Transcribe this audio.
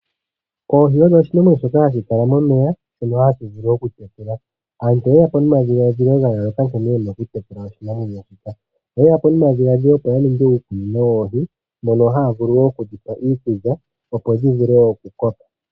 Oohi odho oshinamwenyo shoka hashi kala momeya shono hashi vulu okutekulwa. Aantu oyeyapo nomadhiladhilo ga yooloka nkene yena okutekula oshinamwenyoshika. Oyeyapo no madhiladhilo opo ya ningi iikunino yoohi mono haye dhipe iikulya opo dhivule okukoka.